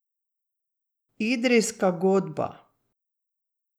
Idrijska godba.